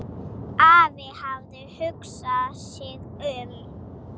Afi hafði hugsað sig um.